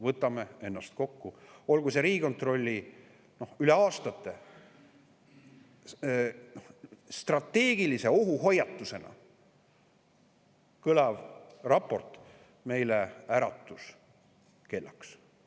Võtame ennast kokku, olgu see Riigikontrolli üle aastate strateegilise ohu hoiatusena kõlav raport meile äratuskellaks.